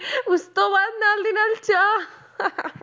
ਉਸ ਤੋਂ ਬਾਅਦ ਨਾਲ ਦੀ ਨਾਲ ਚਾਹ